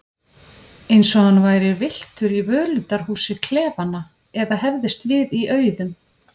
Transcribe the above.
Eins og hann væri villtur í völundarhúsi klefanna eða hefðist við í auðum.